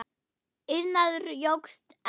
Iðnaður jókst enn.